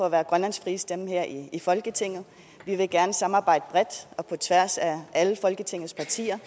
at være grønlands frie stemme her i folketinget vi vil gerne samarbejde bredt og på tværs af alle folketingets partier